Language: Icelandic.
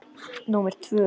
númer tvö.